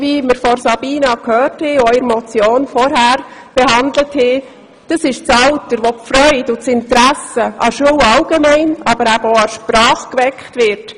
Wie Sabina Geissbühler gesagt hat, ist dies das Alter, in dem die Freude und das Interesse am Lernen und vor allem auch an der Sprache geweckt werden.